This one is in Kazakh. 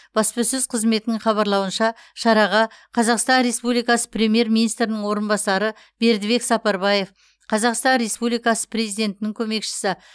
баспасөз қызметінің хабарлауынша шараға қазақстан республикасы премьер министрінің орынбасары бердібек сапарбаев қазақстан республикасы президентінің көмекшісі